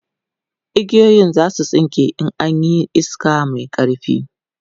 igiyoyin zasu tsinke in an Yi iska Mai ƙarfi